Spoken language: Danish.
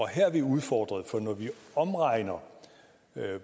her er vi udfordret for når vi omregner